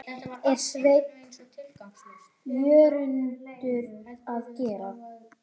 er Sveinn Jörundur að gera?